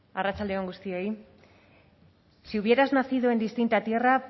arratsalde on guztioi si hubieras nacido en distinta tierra